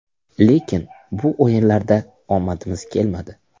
Lekin bu o‘yinlarda omadimiz kelmadi.